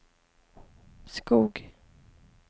Skog